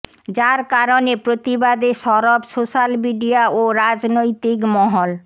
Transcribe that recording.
যার কারণে প্রতিবাদে সরব সোশ্যাল মিডিয়া ও রাজনৈতিক মহল